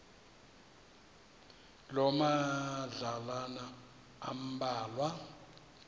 loo madlalana ambalwa